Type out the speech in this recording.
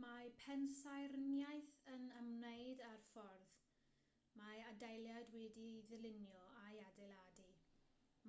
mae pensaernïaeth yn ymwneud â'r ffordd mae adeilad wedi'i ddylunio a'i adeiladu